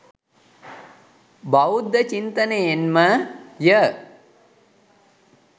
බෞද්ධ චින්තනයෙන් ම ය.